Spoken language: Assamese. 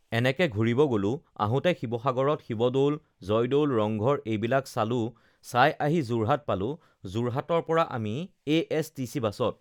এনেকে ঘূৰিব গ'লোঁ আহোঁতে শিৱসাগৰত শিৱদৌল, জয়দৌল, ৰংঘৰ এইবিলাক চালোঁ চাই আহি যোৰহাট পালোঁ যোৰহাটৰ পৰা আমি এএছটিচি বাছত